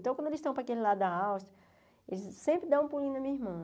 Então, quando eles estão para aquele lado da Áustria, eles sempre dão um pulinho na minha irmã.